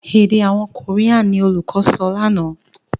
èdè àwọn Korean ní olùkó sọ lànà.